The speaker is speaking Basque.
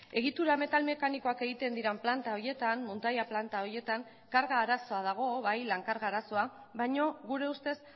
egitura metal mekanikoak egiten diren planta horietan muntaia planta horietan lan karga arazoa dago baina gure ustez